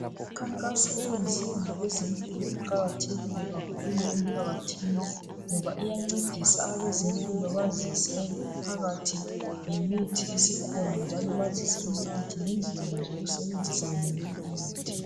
Imkhankaso eyenziwa ngabezempilo iqakathekile kakhulu emphakathini ngoba iyancedisa abezempilo bazise umphakathi ngemithi esikhona njalo bazise umphakathi ngendlela zokusebenzisa yonaleyi mithi.